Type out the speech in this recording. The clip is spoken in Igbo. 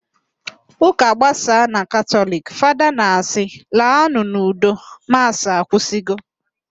Ụka gbasaa na Katọliki, Fada na-asị, "laanụ n'udo, maasị agwụsiwo"